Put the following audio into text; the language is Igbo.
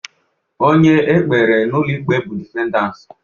Onye e kpere n'ụlọ ikpe bụ defendant.